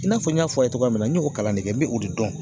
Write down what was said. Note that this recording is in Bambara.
I n'a fɔ n y'a fɔ a ye cogoya min na n y'o kalan de kɛ n bɛ o de dɔn.